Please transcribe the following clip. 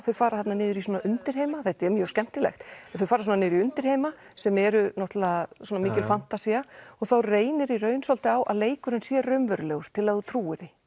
þau fara þarna niður í svona undirheima þetta er mjög skemmtilegt en þau fara svona niður í undirheima sem eru náttúrulega mikil fantasía og þá reynir í raun svolítið á að leikurinn sé raunverulegur til að þú trúir því